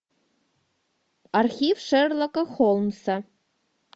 архив шерлока холмса